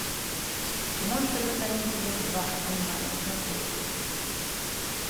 монстры на каникулах два онлайн смотреть